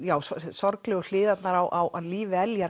sorglegu hliðarnar á lífi